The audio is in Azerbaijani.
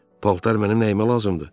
Paltar mənim nəyimə lazımdır?